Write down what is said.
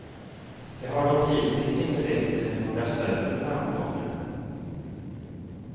Det har dock hittills inte lett till några större framgångar.